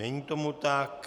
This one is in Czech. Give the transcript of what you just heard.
Není tomu tak.